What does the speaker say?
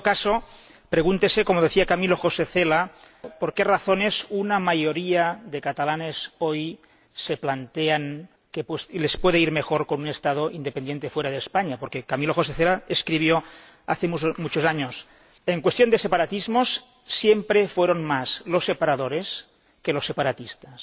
En todo caso, pregúntese, como decía Camilo José Cela, por qué razones una mayoría de catalanes, hoy, se plantea que les puede ir mejor con un Estado independiente fuera de España, porque Camilo José Cela escribió hace muchos años En cuestión de separatismos, siempre fueron más los separadores que los separatistas.